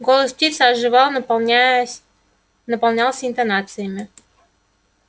голос птицы оживал наполняясь наполнялся интонациями